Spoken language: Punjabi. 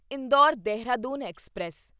ਇੰਦੌਰ ਦੇਹਰਾਦੂਨ ਐਕਸਪ੍ਰੈਸ